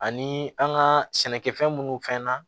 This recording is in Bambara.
Ani an ka sɛnɛkɛfɛn minnu fɛn na